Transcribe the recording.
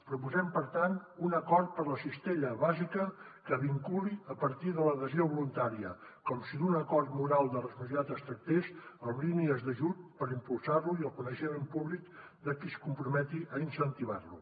proposem per tant un acord per a la cistella bàsica que vinculi a partir de l’adhesió voluntària com si d’un acord moral de responsabilitat es tractés amb línies d’ajut per impulsar lo i el coneixement públic de qui es comprometi a incentivar lo